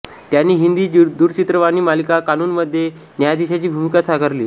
त्यांनी हिंदी दूरचित्रवाणी मालिका कानूनमध्ये न्यायाधिशाची भुमिका साकारली